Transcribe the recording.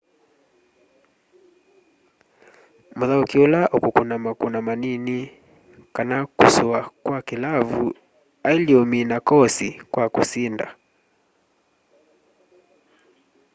mûthaûki ula ukûkûna makûna manini kana kûsûa kwa kilavu aile umina koosi kwa kusinda